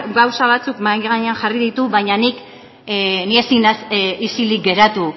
gauza batzuk mahai gainean jarri ditu baina ni ezin naiz isilik geratu